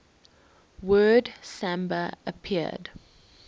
word samba appeared